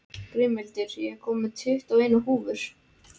Grímhildur, ég kom með tuttugu og eina húfur!